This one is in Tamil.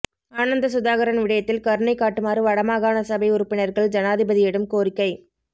ஆனந்த சுதாகரன் விடயத்தில் கருணை காட்டுமாறு வடமாகாணசபை உறுப்பினர்கள் ஜனாதிபதிடம் கோரிக்கை